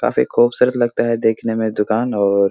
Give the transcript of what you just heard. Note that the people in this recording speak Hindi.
काफी खूबसूरत लगता है देखने मे दुकान और --